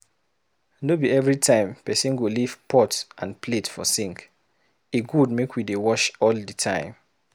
No be every time pesin go leave pot and plate for sink. E good make we dey wash all di time.